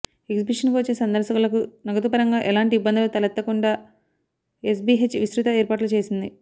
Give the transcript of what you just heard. ఎగ్జిబిషన్కు వచ్చే సందర్శకులకు నగదుపరంగా ఎలాంటి ఇబ్బందులు తలెత్తకుండా ఎస్బిహెచ్ విస్తృత ఏర్పాట్లు చేసింది